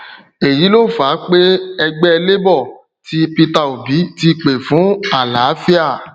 èyí ló fà pé ẹgbẹ labour tí peter obi ti pè fún àlàáfíà